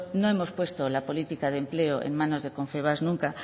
no hemos puesto la política de empleo en manos confebask nunca